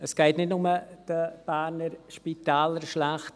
Es geht nicht nur den Berner Spitälern schlecht.